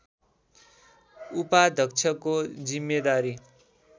उपाध्यक्षको जिम्मेदारी